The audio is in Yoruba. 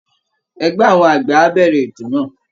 Ẹgbẹ́ àwọn àgbẹ̀ á bẹ̀rẹ̀ ètò náà